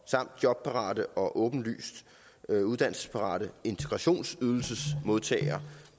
samt jobparate og åbenlyst uddannelsesparate integrationsydelsesmodtagere